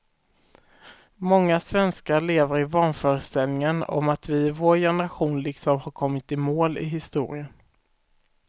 Många svenskar lever i vanföreställningen om att vi i vår generation liksom har kommit i mål i historien.